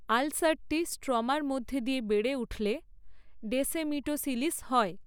আলসারটি স্ট্রমার মধ্যে দিয়ে বেড়ে উঠলে ডেসেমিটোসিলিস হয়।